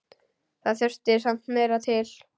Það þurfti samt meira til.